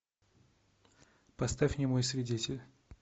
поставь немой свидетель